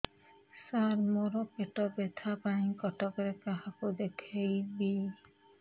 ସାର ମୋ ର ପେଟ ବ୍ୟଥା ପାଇଁ କଟକରେ କାହାକୁ ଦେଖେଇବି